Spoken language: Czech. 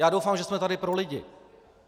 Já doufám, že jsme tady pro lidi.